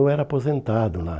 Eu era aposentado lá.